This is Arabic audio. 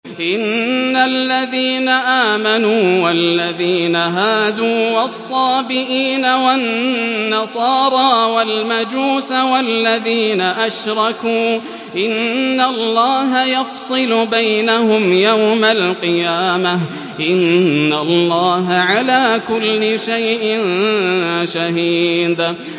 إِنَّ الَّذِينَ آمَنُوا وَالَّذِينَ هَادُوا وَالصَّابِئِينَ وَالنَّصَارَىٰ وَالْمَجُوسَ وَالَّذِينَ أَشْرَكُوا إِنَّ اللَّهَ يَفْصِلُ بَيْنَهُمْ يَوْمَ الْقِيَامَةِ ۚ إِنَّ اللَّهَ عَلَىٰ كُلِّ شَيْءٍ شَهِيدٌ